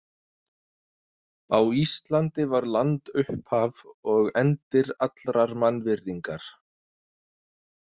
Á Íslandi var land upphaf og endir allrar mannvirðingar.